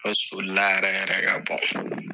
Aw soli la yɛrɛ yɛrɛ ka bɔ.